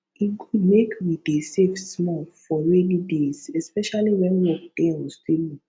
e good make we dey save small for rainy days especially wen work dey unstable